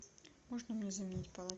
можно мне заменить